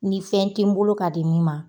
Ni fɛn tɛ n bolo ka di min ma